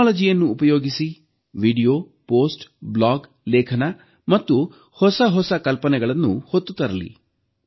ತಂತ್ರಜ್ಞಾನವನ್ನು ಉಪಯೋಗಿಸಿ video post blog ಲೇಖನ ಮತ್ತು ಹೊಸಹೊಸ ಕಲ್ಪನೆಗಳನ್ನು ಹೊತ್ತು ತರಲಿ